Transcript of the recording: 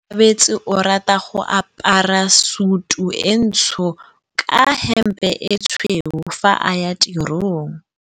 Onkabetse o rata go apara sutu e ntsho ka hempe e tshweu fa a ya tirong.